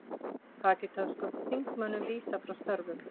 Pakistönskum þingmönnum vísað frá störfum